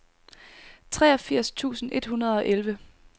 treogfirs tusind et hundrede og elleve